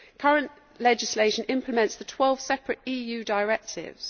Current legislation implements the 12 separate EU directives.